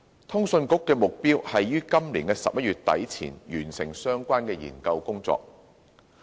通訊局的目標，是於今年11月底前完成相關研究工作。